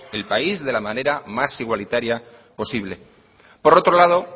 el país de la manera más igualitaria posible por otro lado